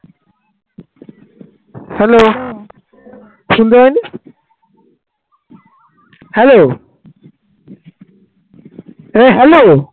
A hello